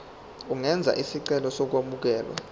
ungenza isicelo sokwamukelwa